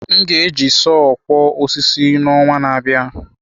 M ga-eji sọọ kwo osisi n’ọnwa na-abịa.